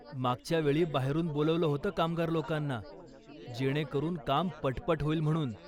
मागच्यावेळी बाहेरून बोलावलं होतं कामगार लोकांना, जेणेकरून काम पटपट होईल म्हणून.